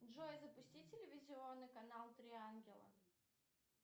джой запусти телевизионный канал три ангела